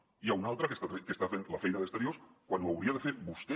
n’hi ha un altre que està fent la feina d’exteriors quan ho hauria de fer vostè